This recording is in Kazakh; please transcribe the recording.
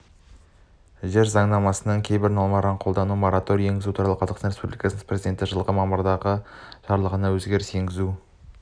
жер заңнамасының кейбір нормаларын қолдануға мораторий енгізу туралы қазақстан республикасы президентінің жылғы мамырдағы жарлығына өзгеріс енгізу